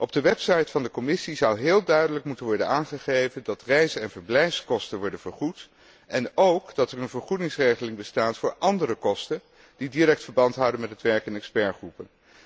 Op de website van de Commissie zou heel duidelijk moeten worden aangegeven dat reis en verblijfskosten worden vergoed, en ook dat er een vergoedingsregeling bestaat voor andere kosten die direct verband houden met het werk in deskundigengroepen.